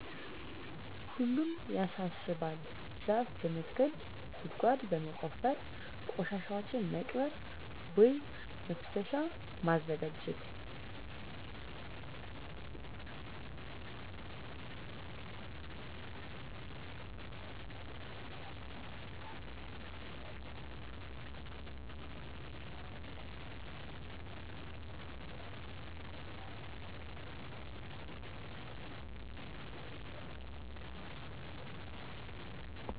ሁሉም ያሳስባል ዛፍ በመትከል ጉድጓድ በመቆፈር ቆሻሻዎችን መቅበር ቦይ መፋሰሻ ማዘጋጀት